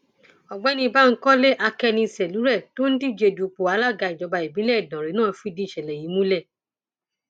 ọgbẹni bankole akẹniṣèlúre tó ń díje dupò alága ìjọba ìbílẹ ìdánrẹ náà fìdí ìṣẹlẹ yìí múlẹ